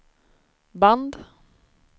band